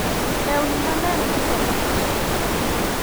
lewni maler usore mayot